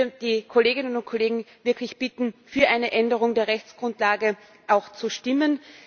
Ich würde die Kolleginnen und Kollegen wirklich bitten, für eine Änderung der Rechtsgrundlage zu stimmen.